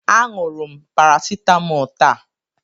Aṅụrụ m parasitamọl taa.